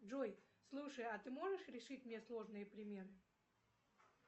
джой слушай а ты можешь решить мне сложные примеры